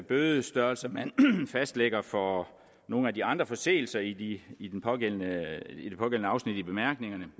bødestørrelser man fastlægger for nogle af de andre forseelser i i det pågældende afsnit i bemærkningerne